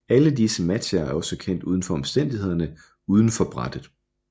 Alle disse matcher er kendt også for omstændighederne uden for brættet